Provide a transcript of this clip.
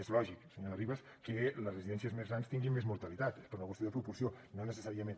és lògic senyora ribas que les residències més grans tinguin més mortalitat per una qüestió de proporció però no necessàriament